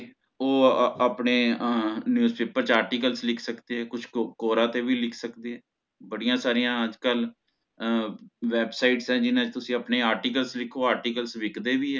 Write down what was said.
ਓਹ ਆ ਆਪਣੇ ਆਹ newspaper ਚ articles ਲਿਖ ਸਕਦੇ ਹੈ ਕੁਛ ਕੋਰਾ ਤੇ ਵੀ ਲਿਖ ਸਕਦੇ ਹੈ ਬੜੀਆਂ ਸਾਰੀਆਂ ਅੱਜ ਕਲ ਆਹ websites ਹੈ ਜਿੱਚ ਚ ਤੁਸੀਂ ਆਪਣੇ articles ਲਿਖੋ articles ਵਿਕਦੇ ਵੀ ਹੈ